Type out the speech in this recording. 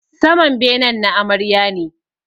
Saman benen na Amarya ne